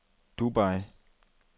Dubai